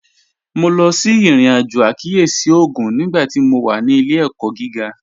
Mo lọ sí irin-ajo àkíyèsí ogún nígbàtí mó wà ní ilẹ̀-ẹ̀kọ̀ gígà